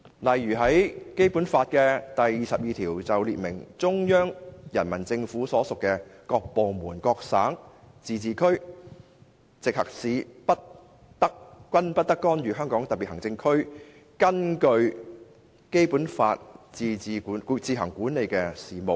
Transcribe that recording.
例如，《基本法》第二十二條列明，中央人民政府所屬的各部門、省、自治區、直轄市均不得干預香港特別行政區根據《基本法》自行管理的事務。